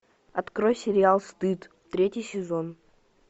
открой сериал стыд третий сезон